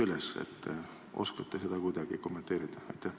Kas oskate seda kuidagi kommenteerida?